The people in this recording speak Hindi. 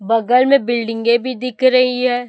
बगल में बिल्डिंगे भी दिख रही है।